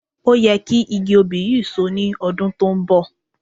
Ó yẹ kí igi òbí yìí So ní ọdún tó ń bọ̀